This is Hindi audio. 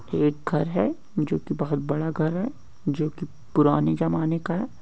एक घर है जो की बहुत बड़ा घर है जो की पुराने जमाने का है।